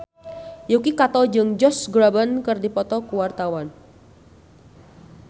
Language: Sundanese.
Yuki Kato jeung Josh Groban keur dipoto ku wartawan